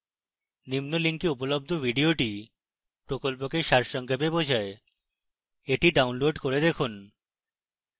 নিম্ন link উপলব্ধ video প্রকল্পকে সারসংক্ষেপ বোঝায় the download করে দেখুন